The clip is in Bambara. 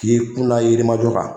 K'i kunla Yirimajɔ kan.